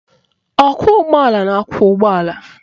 Ọkwọụgbọala na-akwọ ụgbọala